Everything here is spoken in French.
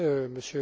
vous